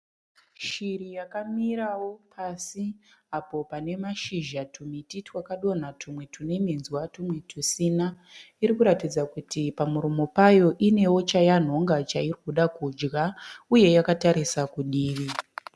Shiri yakamirawo pasi apo pane mashizha tumiti twakadonha twumwe twune minzwa twumwe tusina. Iri kuratidza kuti pamuromo payo inewo chayanhonga chairi kuda kudya uye yakatarisa kudivi.